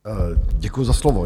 Děkuju za slovo.